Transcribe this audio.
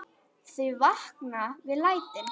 Þau vakna við lætin.